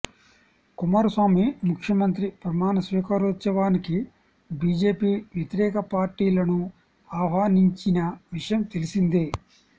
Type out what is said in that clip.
కుమారస్వామి ముఖ్యమంత్రి ప్రమాణస్వీకారోత్సవానికి బీజేపీ వ్యతిరేక పార్టీలను ఆహ్వానించిన విషయం తెలిసిందే